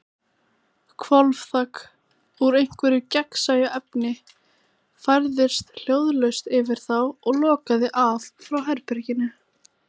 Hvolfþak, úr einhverju gagnsæju efni, færðist hljóðlaust yfir þá og lokaði af frá herberginu.